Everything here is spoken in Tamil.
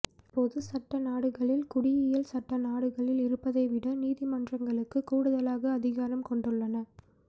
பொதுச் சட்ட நாடுகளில் குடியியல் சட்ட நாடுகளில் இருப்பதை விட நீதிமன்றங்களுக்கு கூடுதலாக அதிகாரம் கொண்டுள்ளன